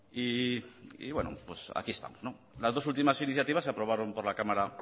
y bueno aquí estamos las dos últimas iniciativas se aprobaron por la cámara